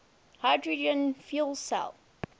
hydrogen fuel cell